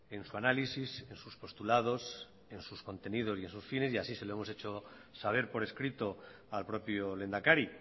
en su análisis en sus postulados en sus contenidos y en sus fines y así se lo hemos hecho saber por escrito al propio lehendakari